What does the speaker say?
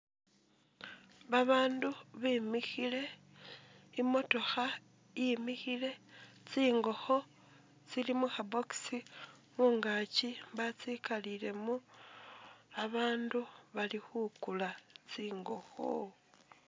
Babandu bimikhile imotokha yimikhile tsingokho tsili mukha box khungakyi batsikalilemo abandu bali kukula tsingokho